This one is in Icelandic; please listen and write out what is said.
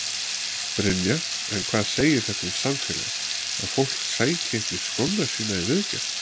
Brynja: En hvað segir þetta um samfélagið, að fólk sæki ekki skóna sína í viðgerð?